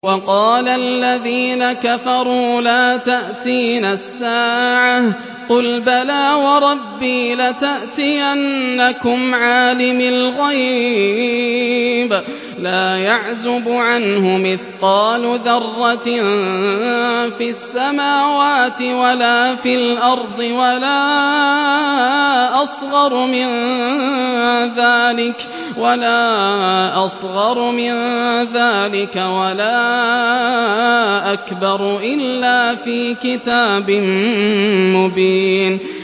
وَقَالَ الَّذِينَ كَفَرُوا لَا تَأْتِينَا السَّاعَةُ ۖ قُلْ بَلَىٰ وَرَبِّي لَتَأْتِيَنَّكُمْ عَالِمِ الْغَيْبِ ۖ لَا يَعْزُبُ عَنْهُ مِثْقَالُ ذَرَّةٍ فِي السَّمَاوَاتِ وَلَا فِي الْأَرْضِ وَلَا أَصْغَرُ مِن ذَٰلِكَ وَلَا أَكْبَرُ إِلَّا فِي كِتَابٍ مُّبِينٍ